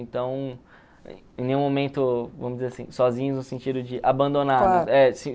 Então, em nenhum momento, vamos dizer assim, sozinhos no sentido de abandonados.